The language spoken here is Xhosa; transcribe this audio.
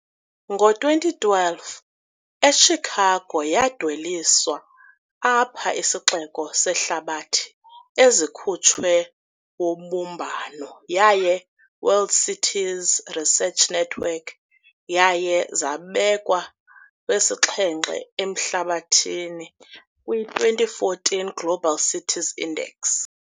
Ngo-2012, eChicago yadweliswa alpha isixeko zehlabathi ezikhutshwe wobumbano yaye World Cities Research Network, yaye zabekwa wesixhenxe ehlabathini kwi-2014 Global Cities Index.